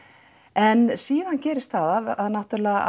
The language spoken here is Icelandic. en síðan gerist það að náttúrulega